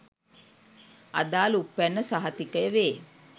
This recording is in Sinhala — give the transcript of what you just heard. අදාල උප්පැන්න සහතිකය වේ